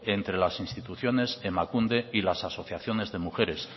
entre las instituciones emakunde y las asociaciones de mujeres